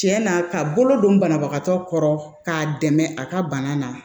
Tiɲɛ na ka bolo don banabagatɔ kɔrɔ k'a dɛmɛ a ka bana na